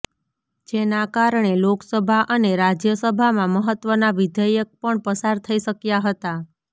જેના કારણે લોકસભા અને રાજ્યસભામાં મહત્વના વિધેયક પણ પસાર થઈ શક્યા હતા